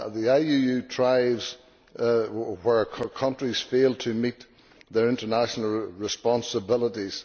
IUU thrives where countries fail to meet their international responsibilities.